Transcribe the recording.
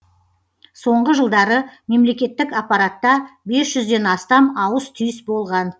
соңғы жылдары мемлекеттік аппаратта бес жүзден астам ауыс түйіс болған